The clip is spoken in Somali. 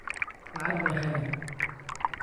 Lacag bay xadeen